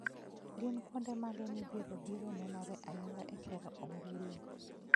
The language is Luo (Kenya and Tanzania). Gin kuonde mage mibiro biro nenore ayanga e sero ombulo